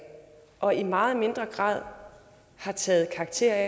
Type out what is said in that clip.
og i meget mindre grad har taget karakter af